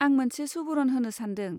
आं मोनसे सुबुरुन होनो सान्दों।